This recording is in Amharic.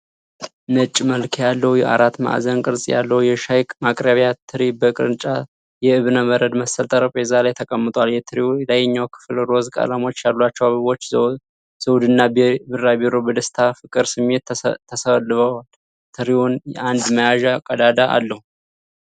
ነጭ መልክ ያለው አራት ማዕዘን ቅርጽ ያለው የሻይ ማቅረቢያ ትሪ በግራጫ የእብነበረድ መሰል ጠረጴዛ ላይ ተቀምጧል። የትሪው ላይኛው ክፍል ሮዝ ቀለሞች ያሏቸው አበቦች፣ ዘውድና ቢራቢሮ በደስታ ፍቅር ስሜት ተስለውበታል። ትሪው አንድ መያዣ ቀዳዳ አለው።